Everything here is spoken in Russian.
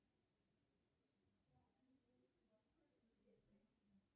сбер ты что то или кого то ненавидишь